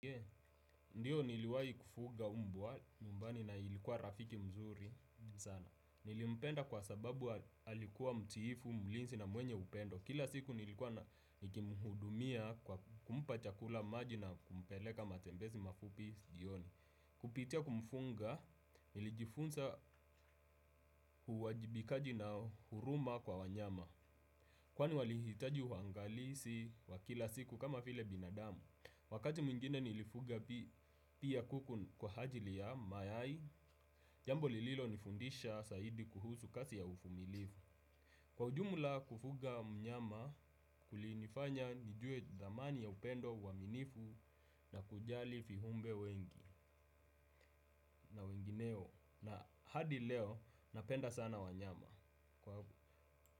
Ndiyo niliwahi kufuga mbwa nyumbani na ilikuwa rafiki mzuri sana. Nilimpenda kwa sababu alikuwa mtiifu, mlinzi na mwenye upendo. Kila siku nilikuwa nikimhudumia kwa kumpa chakula maji na kumpeleka matembezi mafupi jioni. Kupitia kumfuga, nilijifunza uwajibikaji na huruma kwa wanyama. Kwani walihitaji uangalizi wa kila siku kama vile binadamu. Wakati mwingine nilifuga pia kuku kwa ajili ya mayai, jambo lililonifundisha zaidi kuhusu kazi ya uvumilivu. Kwa ujumla kufuga mnyama kulinifanya nijue thamani ya upendo uaminifu na kujali viumbe wengi na wengineo. Na hadi leo napenda sana wanyama.